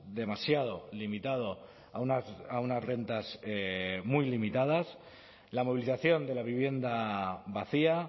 demasiado limitado a unas rentas muy limitadas la movilización de la vivienda vacía